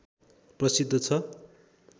प्रसिद्ध छ